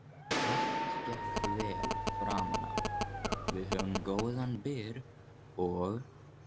Allt gekk vel framanaf, við höfðum góðan byr og